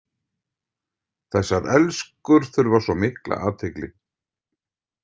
Þessar elskur þurfa svo mikla athygli.